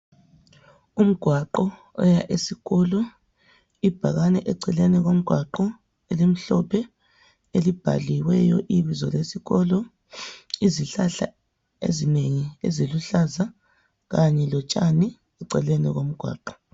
Umgwaqo oya esikolo. Ibhakane eceleni komgwaqo, elimhlophe, elibhaliweyo ibizo lesikolo. Izihlahla ezinengi eziluhlaza, kanye lotshani eceleni komgwaqo.